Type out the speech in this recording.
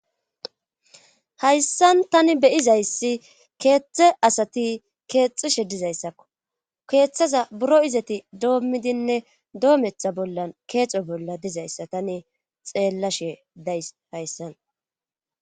Hayssan tani beyizayssi keeththe asati keexishe dizayssakko keeththaza buro izati doommidinne doometha bollan keexo bolla dizayssa tani xeellashe days hayssan.